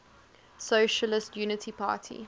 socialist unity party